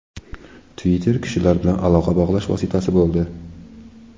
Twitter kishilar bilan aloqa bog‘lash vositasi bo‘ldi.